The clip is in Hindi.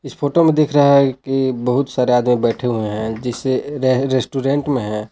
इस फोटो में दिख रहा है कि बहुत सारे आदमी बैठे हुए हैं जैसे रेस्टोरेंट में हैं।